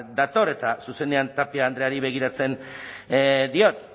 dator eta zuzenean tapia andreari begiratzen diot